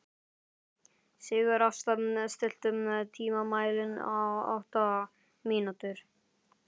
Sigurásta, stilltu tímamælinn á átta mínútur.